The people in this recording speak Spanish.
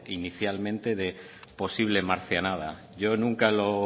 inicialmente de posible marcianada yo nunca lo